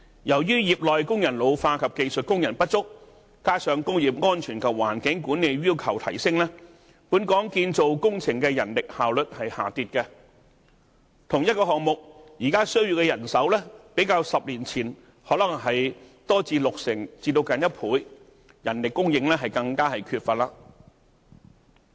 由於業內工人老化及技術工人不足，加上工業安全和環境管理的要求提升，本港建造工程的人力效率下跌，同一個項目，現時需要的人手較10年前增加六成至接近1倍，人力供應更為缺乏。